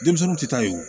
Denmisɛnninw tɛ taa yen wo